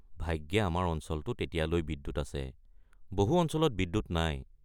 ভাগ্যে আমাৰ অঞ্চলটোত এতিয়ালৈ বিদ্যুৎ আছে, বহু অঞ্চলত বিদ্যুৎ নাই।